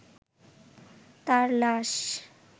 তাঁর লাশ